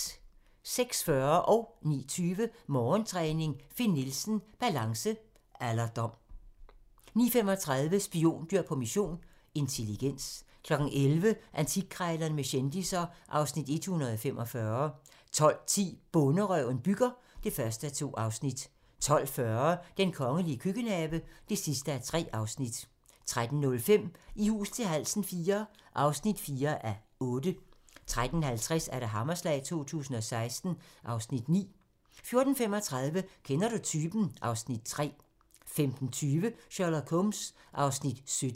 06:40: Morgentræning: Finn Nielsen - balance, alderdom 09:20: Morgentræning: Finn Nielsen - balance, alderdom 09:35: Spiondyr på mission - intelligens 11:00: Antikkrejlerne med kendisser (Afs. 145) 12:10: Bonderøven bygger (1:2) 12:40: Den kongelige køkkenhave (3:3) 13:05: I hus til halsen IV (4:8) 13:50: Hammerslag 2016 (Afs. 9) 14:35: Kender du typen? (Afs. 3) 15:20: Sherlock Holmes (17:45)